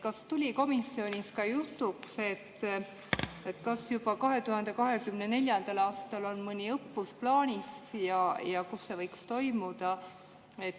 Kas tuli komisjonis jutuks, kas 2024. aastal on mõni õppus plaanis ja kus see võiks toimuda?